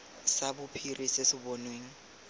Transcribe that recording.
sa bophiri se se bonweng